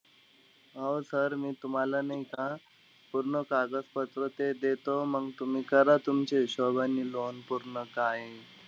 हो sir मी तुम्हाला नाई का, पूर्ण कागदपत्र ते देतो. मंग तुम्ही करा तुमच्या हिशोबाने loan पूर्ण काये.